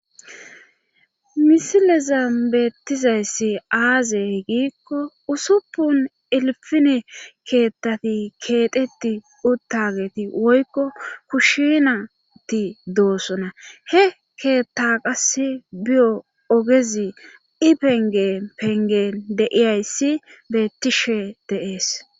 Misileza beettizayssi aaze giikko usuppun ilfine keettati keeteti uttageti woykko kushinati doossona he keetta qas biyo ogezi ipenge pengen deiyayssi beettishe deees.